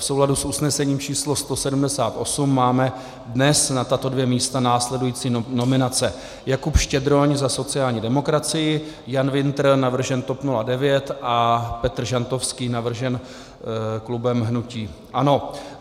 V souladu s usnesením číslo 178 máme dnes na tato dvě místa následující nominace: Jakub Štědroň za sociální demokracii, Jan Wintr, navržen TOP 09, a Petr Žantovský, navržen klubem hnutí ANO.